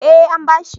Eh an bashi